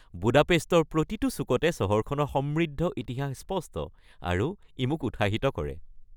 বুদাপেষ্টৰ প্ৰতিটো চুকতে চহৰখনৰ সমৃদ্ধ ইতিহাস স্পষ্ট, আৰু ই মোক উৎসাহিত কৰে।